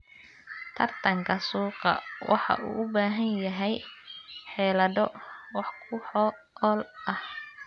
Tartanka suuqa waxa uu u baahan yahay xeelado wax ku ool ah.